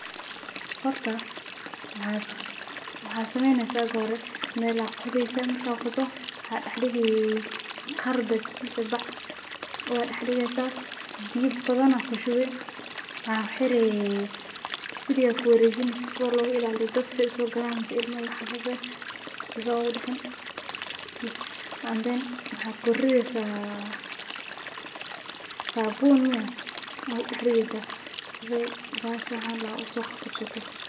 Horta waxad waxad sameyneysaa marka hore, meela qodeysa marka qodo waxaa dhex dhigi qarbad mise bac waa dhex dhigeysa biyo badana kushubi, waxaa uxire siliga ku wareejini sifo logu ilaaliyo dad si ee usogalan mise ilmo iyo waxa sas eh sifo egu dhicin bes, and then waxaa kurideysa saabun miyaa aa kudhex rideysa sife bahashan aa ladhaha uso qabqabsato.